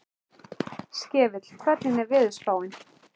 Skefill, hvernig er veðurspáin?